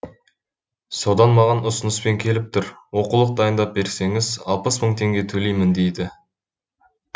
содан маған ұсыныспен келіп тұр оқулық дайындап берсеңіз алпыс мың теңге төлеймін дейді